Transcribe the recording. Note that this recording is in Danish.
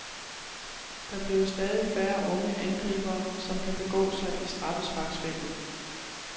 Der bliver stadig færre unge angribere, som kan begå sig i straffesparksfeltet.